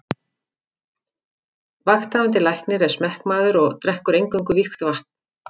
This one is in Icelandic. Vakthafandi Læknir er smekkmaður og drekkur eingöngu vígt vatn.